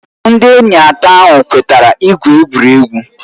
Ndị enyi atọ ahụ kwetara igwu egwuregwu.